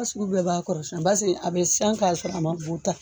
sugu bɛɛ b'a kɔrɔ basiki a bɛ siyan k'a sɔrɔ a man bu ta.